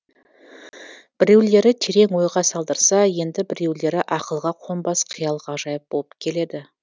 біреулері терең ойға салдырса енді біреулері ақылға қонбас қиял ғажайып болып келеді